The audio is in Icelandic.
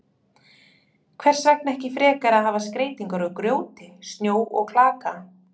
Hvers vegna ekki frekar að hafa skreytingar úr grjóti, snjó og klaka?